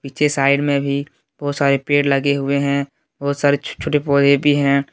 पीछे साइड में भी बहोत सारे पेड़ लगे हुए हैं बहोत सारे छोटे छोटे पौधे भी हैं।